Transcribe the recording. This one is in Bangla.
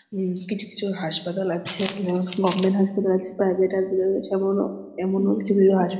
হুম কিছু কিছু হাসপাতাল আছে যেমন গভমেন্ট হাসপাতাল আছে প্রাইভেট হাসপাতাল আছে। এমনও এমনও কিছু কিছু হাস--